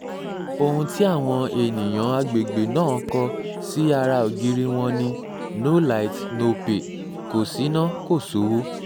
ohun tí àwọn ènìyàn àgbègbè náà kó sí ara ògiri wọn ni no light no pay kò ṣínà kò sówó